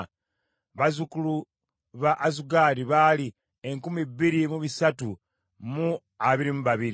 bazzukulu ba Azugaadi baali enkumi bbiri mu bisatu mu abiri mu babiri (2,322),